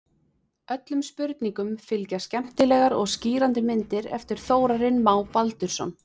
Öllum spurningum fylgja skemmtilegar og skýrandi myndir eftir Þórarinn Má Baldursson.